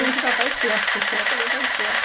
Isso já faz tempo, sessenta já faz tempo.